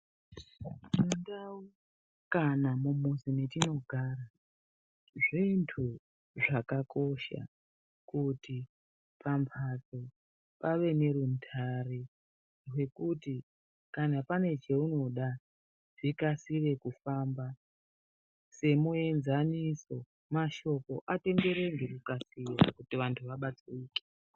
Mundau kana mumuzi metinogara zvintu zvakakosha kuti pambatso pave nerundare rwekuti kana pane cheunoda zvikasire kufamba semuenzaniso mashoko atenderere ngekukasira kuti vantu vabatsirike.